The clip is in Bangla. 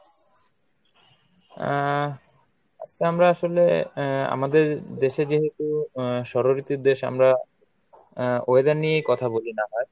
আহ আজকে আমরা আসলে আহ আমাদের দেশে যেহেতু আহ ষড়ঋতুর দেশ আমরা আহ weather নিয়ে কথা বলি না হয়।